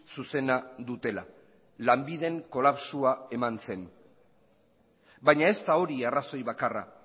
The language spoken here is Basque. zuzena dutela lanbiden kolapsoa eman zen baina ez da hori arrazoi bakarra